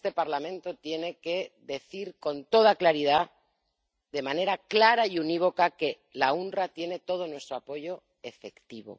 Y este Parlamento tiene que decir con toda claridad, de manera clara y unívoca, que el OOPS tiene todo nuestro apoyo efectivo.